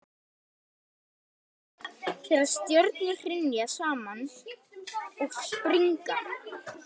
það myndast í miklum hamförum þegar stjörnur hrynja saman og springa